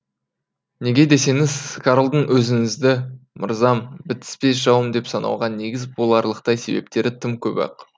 неге десеңіз карлдың өзіңізді мырзам бітіспес жауым деп санауға негіз боларлықтай себептері тым көп ақ